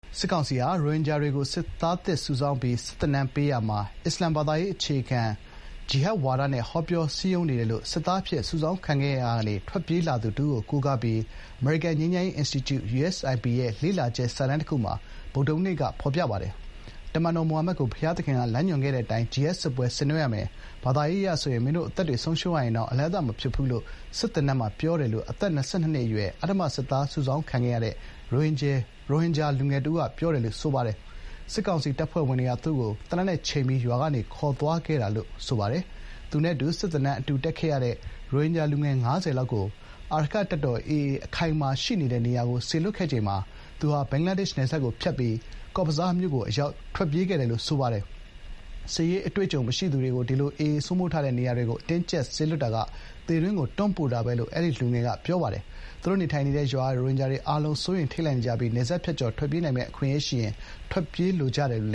စစ်ကောင်စီဟာ ရိုဟင်ဂျာတွေကို စစ်သားသစ်စုဆောင်းပြီး စစ်သင်တန်းပေးရာမှာ အစ္စာလာမ်ဘာသာရေးအခြေခံပြီး ဂျီဟတ်ဒ်ဝါဒနဲ့ ဟောပြော စည်းရုံးနေတယ်လို့ စစ်သားအဖြစ် စုဆောင်းခံခဲ့ရာကနေ ထွက်ပြေးလာသူတဦးကို ကိုးကားပြီး အမေရိကန်ငြိမ်းချမ်းရေး အင်စတီကျု (USIP) ရဲ့ လေ့လာချက် စာတမ်းတခုမှာ ဗုဒ္ဓဟူးနေ့က ဖော်ပြပါတယ်။ “တမန်တော်မိုဟာမက်ကို ဘုရားသခင်ကလမ်းညွှန်ခဲ့တဲ့အတိုင်း ဂျီဟတ်ဒ်စစ်ပွဲ ဆင်နွဲရမယ်။ ဘာသာရေးအရဆိုရင် မင်းတို့အသက်တွေဆုံးရှုံးရရင်တောင် အလဟဿမဖြစ်ဘူး” လို့ စစ်သန်တန်းမှာ ပြောတယ်လို့ အသက် ၂၂ အရွယ် အဓမ္မ စစ်သားစုဆောင်းခံခဲ့ရတဲ့ ရိုဟင်ဂျာလူငယ်က ပြောကြောင်း USIP စာတမ်းမှာ ရေးပါတယ်။ စစ်ကောင်စီတပ်ဖွဲ့တွေက သူ့ကို သေနတ်နဲ့ချိန်ပြီး ရွာကနေခေါ်သွားခဲ့တာလို့ အဲဒီ လူငယ်က ပြောပါတယ်။ သူနဲ့အတူ စစ်သင်တန်းတက်ခဲ့ရတဲ့ ရိုဟင်ဂျာ လူငယ် ၅၀ လောက်ကို အာရက္ခတပ်တော် (AA) အခိုင်အမာရှိနေတဲ့နေရာကို စေလွှတ်ခဲ့ချိန်မှာ သူဟာ ဘင်္ဂလားဒေ့ရှ်နယ်စပ်ကို ခိုးဝင်ဖြတ်ကျော်ပြီး ကော့ဘဇားမြို့ကို အရောက် ထွက်ပြေးခဲ့တယ်လို့ ဆိုပါတယ်။ စစ်ရေး အတွေ့အကြုံမရှိသူတွေကို ဒီလို AA စိုးမိုးထားတဲ့ နေရာတွေကို အတင်းအကျပ်စေလွှတ်တာက သေတွင်းကို တွန်းပို့တာပဲလို့လည်း အဲဒီလူငယ်က ပြောပါတယ်။ သူတို့ နေထိုင်တဲ့ ရွာက ရိုဟင်ဂျာတွေ အားလုံး စိုးရိမ် ထိတ်လန့်နေကြပြီး နယ်စပ်ဖြတ်ကျော်ထွက်ပြေးနိုင်မယ့် အခွင့်အရေး ရှိရင် ထွက်ပြေးလိုကြတယ်လို့